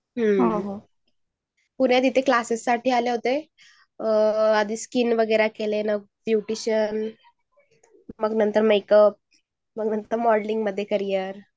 हम, पुण्यात इथे कॅलॅसिस साठी आले होते. आधी इथे क्लासेस शकेल मग नंतर स्किन वगैरे केले. न्यूट्रिशन मग नंतर मेकअप मग नंतर मॉडेलिंग मध्ये करियर